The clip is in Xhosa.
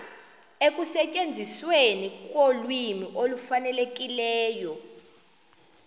ekusetyenzisweni kolwimi olufanelekileyo